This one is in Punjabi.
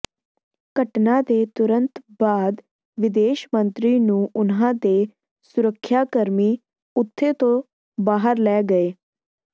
ਘਟਨਾ ਦੇ ਤੁਰੰਤ ਬਾਅਦ ਵਿਦੇਸ਼ ਮੰਤਰੀ ਨੂੰ ਉਨ੍ਹਾਂ ਦੇ ਸੁਰੱਖਿਆਕਰਮੀ ਉੱਥੇ ਤੋਂ ਬਾਹਰ ਲੈ ਗਏ